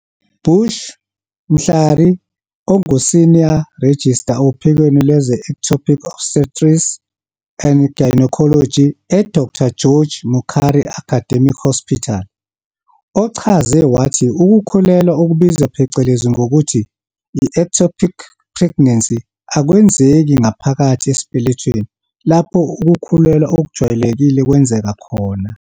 Bushy Mhlari, onguSenior Registrar ophikweni lwezeEctopic Obstetrics and Gynaecology e-Dr George Mukhari Academic Hospital, ochaze wathi ukukhulelwa okubizwa phecelezi ngokuthi yi-ectopic pregnancy akwenzeki ngaphakathi esibelethweni, lapho ukukhulelwa okujwayelekile kwenzeka khona.